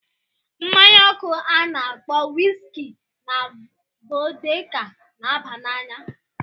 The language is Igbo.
Mmanya ọkụ a na-akpọ wiski na vodka na-aba n'anya.